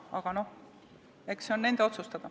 Aga eks see ole nende otsustada.